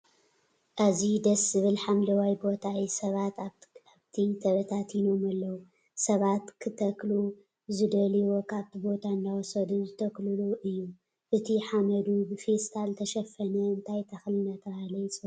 ኣዝዩ ደስ ዝብል ሓምለዋይ ቦታ እዩ። ሰባት ኣብቲ ኣብቲ ተበታቲኖም ኣለው። ሰባት ክተክሉ ዝደልዮ ካብቲ ቦታ እናወሰዱ ዝተክልሉ እዩ። እቱይ ሓመዱ ብፌስታል ዝተሸፈነ እንታይ ተክሊ እናተባህለ ይፅዋዕ?